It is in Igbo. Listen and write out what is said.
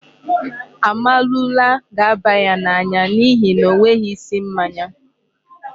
Amarula ga-aba ya n'anya n'ihi na ọ nweghị isi mmanya.